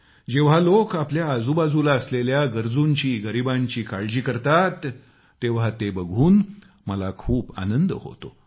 जेव्हा लोक आपल्या आजूबाजूला असलेल्या गरजूंची गरिबांची काळजी करतात तेव्हा ते बघून मला खूप आनंद होतो